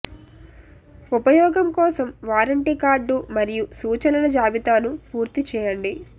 ఉపయోగం కోసం warranty card మరియు సూచనల జాబితాను పూర్తి చేయండి